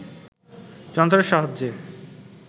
যন্ত্রের সাহায্যে